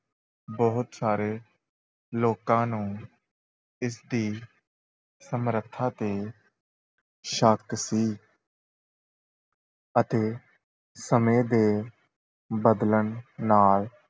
ਬਹੁਤ ਸਾਰੇ ਲੋਕਾਂ ਨੂੰ ਇਸਦੀ ਸਮਰੱਥਾ ‘ਤੇ ਸ਼ੱਕ ਸੀ ਅਤੇ ਸਮੇਂ ਦੇ ਬਦਲਣ ਨਾਲ